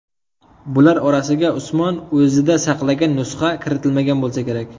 Bular orasiga Usmon o‘zida saqlagan nusxa kiritilmagan bo‘lsa kerak.